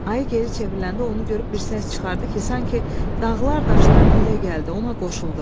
Ayı geri çevriləndə onu görüb bir səs çıxartdı ki, sanki dağlar, daşlar dilə gəldi, ona qoşuldu.